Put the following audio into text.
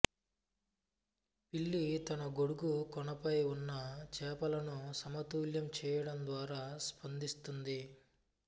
పిల్లి తన గొడుగు కొనపై ఉన్న చేపలను సమతుల్యం చేయడం ద్వారా స్పందిస్తుంది